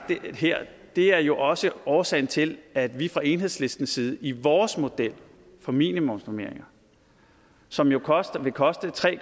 her er jo også årsagen til at vi fra enhedslistens side i vores model for minimumsnormeringer som jo vil koste tre